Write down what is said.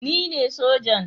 Ni ne sojan